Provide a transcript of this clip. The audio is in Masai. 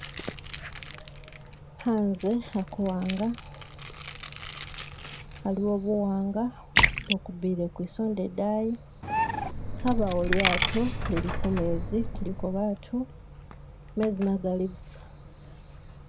H'anze hakuwa'nga, haliwo buwa'nga, bukubiile kusonda idayi, habawo lyato lili kumezi kuliko bantu, mezi magali busa